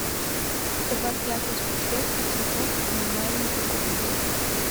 добавь яркость подсветки цветов в маленькой комнате